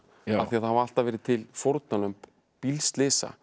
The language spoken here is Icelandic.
af því það hafa alltaf verið til fórnarlömb bílslysa